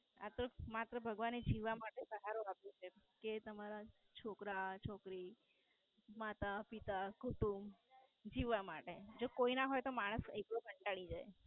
આતો માત્ર ભગવાને જીવવા માટે સહારો આપ્યો છે કે તમારા છોકરા, છોકરી, માતા, પિતા, કુટુંબ જીવવા માટે જો કોઈના હોય તો માણસ કંટાળી જાય.